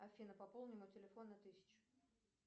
афина пополни мой телефон на тысячу